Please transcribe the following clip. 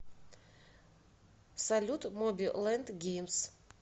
салют моби лэнд геймс